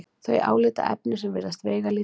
þau álitaefni sem virðast veigalítil.